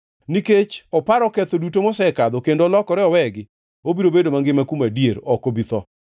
Nikech oparo ketho duto moseketho kendo olokore owegi, obiro bedo mangima kuom adier; ok obi tho.